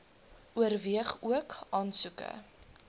oorweeg ook aansoeke